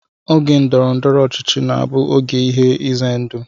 Oge ndọrọndọrọ ọchịchị na-abụ oge ihe ize ndụ